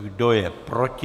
Kdo je proti?